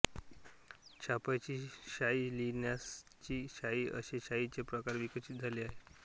छपाईची शाई लिखाणाची शाई असे शाईचे प्रकार विकसित झाले आहेत